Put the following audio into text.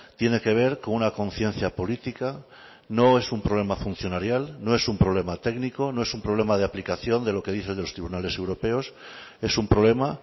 tiene que ver con una conciencia política no es un problema funcionarial no es un problema técnico no es un problema de aplicación de lo que dice de los tribunales europeos es un problema